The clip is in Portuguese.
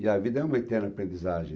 E a vida é uma eterna aprendizagem.